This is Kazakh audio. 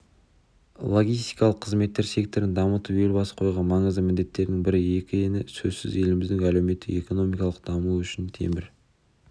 логистикалық қызметтер секторын дамыту елбасы қойған маңызды міндеттердің бірі екені сөзсіз еліміздің әлеуметтік-экономикалық дамуы үшін темір